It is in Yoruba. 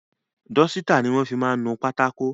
Dọ́sítà ni wọ́n fi máa ń nu pátákó.